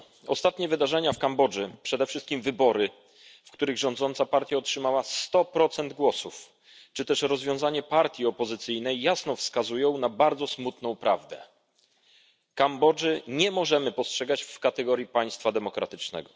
Ostatnie wydarzenia w Kambodży, a przede wszystkim wybory, w których partia rządząca otrzymała sto procent głosów, czy rozwiązanie partii opozycyjnej jasno wskazują na bardzo smutną prawdę Kambodży nie możemy postrzegać w kategoriach państwa demokratycznego.